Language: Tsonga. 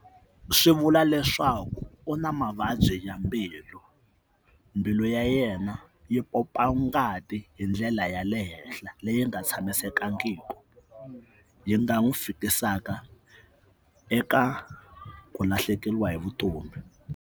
Swi vula leswaku u na mavabyi ya mbilu mbilu ya yena yi pompa ngati hi ndlela ya le henhla leyi nga tshamisekangiki yi nga n'wi fikisaka eka ku lahlekeriwa hi vutomi.